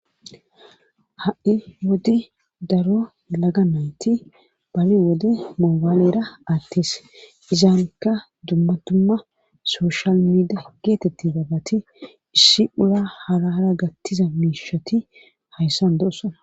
ha7i wodi daro laga nayti bali wode moobaalera attes izaanikka dummatumma soshal miida geetetti baabati issi ula halara gattiza miishati hayssan do7osona